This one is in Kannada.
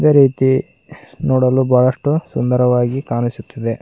ಅದೇ ರೀತಿ ನೋಡಲು ಬಹಳಷ್ಟು ಸುಂದರವಾಗಿ ಕಾಣಿಸುತ್ತಿದೆ.